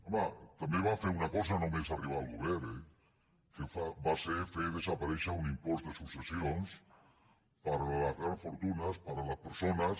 home també van fer una cosa només arribar al govern eh que va ser fer desaparèixer un impost de successions per a les grans fortunes per a les persones